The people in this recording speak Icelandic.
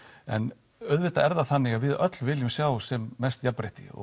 en auðvitað er það þannig að við öll viljum sjá sem mest jafnrétti og